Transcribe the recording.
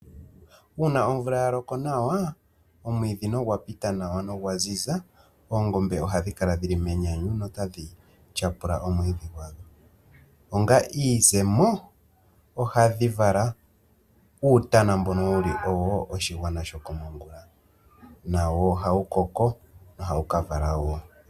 Uuna omvula yaloko nawa omwiidhi nogwa pita nawa nogwa ziza oongombe ohadhi kala dhili menyanyu notadhi tyapula omwiidhi gwadho, onga iizemo ohadhi vala uutana mbono wuli owo oshigwana shokomongula nawoo ohawu koko nohawu kavala woo.